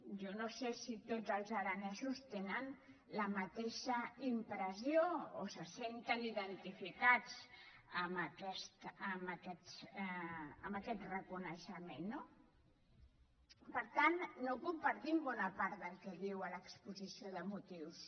jo no sé si tots els aranesos tenen la mateixa impressió o se senten identificats amb aquest reconeixement no per tant no compartim bona part del que diu a l’exposició de motius